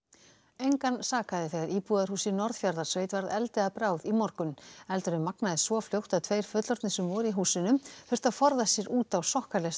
engan sakaði þegar íbúðarhús í Norðfjarðarsveit varð eldi að bráð í morgun eldurinn magnaðist svo fljótt að tveir fullorðnir sem voru í húsinu þurftu að forða sér út á skokkaleistunum